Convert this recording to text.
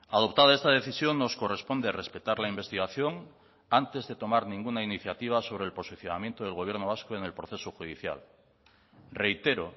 adoptada esta decisión nos corresponde respetar la investigación antes de tomar ninguna iniciativa sobre el posicionamiento del gobierno vasco en el proceso judicial reitero